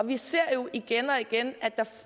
vi ser jo igen og igen